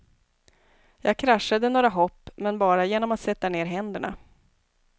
Jag kraschade några hopp, men bara genom att sätta ner händerna.